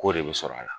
K'o de bɛ sɔrɔ a la